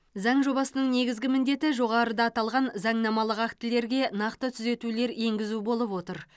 заң жобасының негізгі міндеті жоғарыда аталған заңнамалық актілерге нақты түзетулер енгізу болып отыр